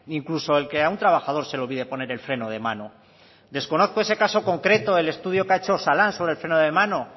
ni incluso el que a un trabajador se le olvide poner el freno de mano desconozco ese caso concreto el estudio que ha hecho osalan del freno de mano